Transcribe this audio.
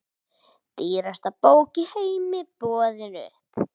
Dýrasta bók í heimi boðin upp